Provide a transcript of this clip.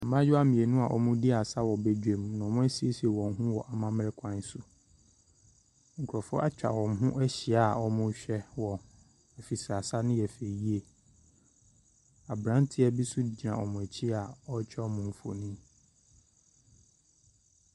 Mmayewa mmienu a wɔredi asa wɔ badwam na wɔasiesie wɔn ho wɔ amammere kwan so. Nkrɔfo atwa wɔn ho ahyia a wɔrehwɛ wɔn efisɛ asa no yɛ fɛ yie. Abranteɛ bi nso gyina wɔn akyi a ɔretwa wɔn mfoni.